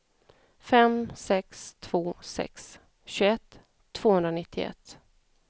fem sex två sex tjugoett tvåhundranittioett